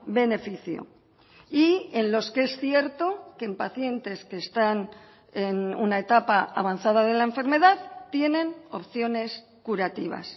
beneficio y en los que es cierto que en pacientes que están en una etapa avanzada de la enfermedad tienen opciones curativas